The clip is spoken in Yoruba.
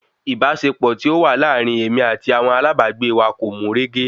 Ìbáṣepọ̀ tí ó wà láàrin èmi àti àwọn alábàágbé wa kò mú régé